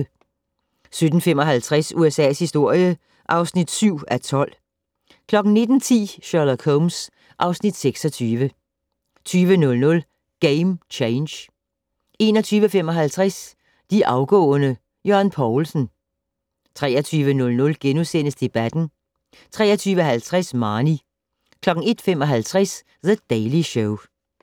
17:55: USA's historie (7:12) 19:10: Sherlock Holmes (Afs. 26) 20:00: Game Change 21:55: De afgående: Jørgen Poulsen 23:00: Debatten * 23:50: Marnie 01:55: The Daily Show